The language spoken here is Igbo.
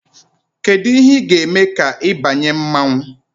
Kedu ihe ị ga-eme ka ị banye mmanwụ?